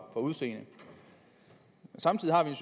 udseendet samtidig har vi